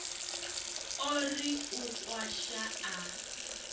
o ri u kwasha a